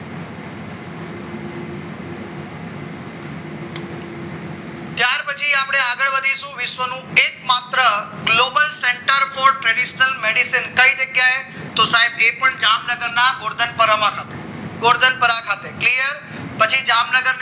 પછી આપણે આગળ વધીએ વિશ્વનું એકમાત્ર Global Central call traditional medicine કઈ જગ્યાએ તો સાહેબ એ પણ જામનગરના ગોરધન ગોરધન પરમ ખાતે ક્લિયર પછી જામનગર